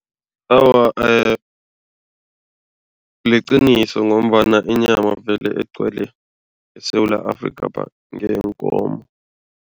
Awa, liqiniso ngombana inyama vele egcwele eSewula Afrika ngeyeenkomo.